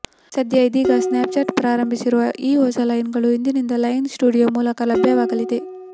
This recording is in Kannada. ಸದ್ಯ ಇದೀಗ ಸ್ನ್ಯಾಪ್ಚಾಟ್ ಪ್ರಾರಂಭಿಸಿರುವ ಈ ಹೊಸ ಲೆನ್ಸ್ಗಳು ಇಂದಿನಿಂದ ಲೆನ್ಸ್ ಸ್ಟುಡಿಯೋ ಮೂಲಕ ಲಭ್ಯವಾಗಲಿವೆ